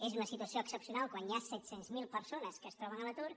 és una situació excepcional quan hi ha set cents miler persones que es troben a l’atur